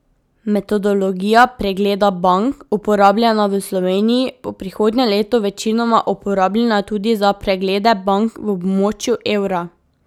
Metodologija pregleda bank, uporabljena v Sloveniji, bo prihodnje leto večinoma uporabljena tudi za preglede bank v območju evra.